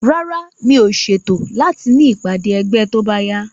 Rárá, mi ò ṣètò láti ní ìpàdé ẹgbẹ́ tóbáyá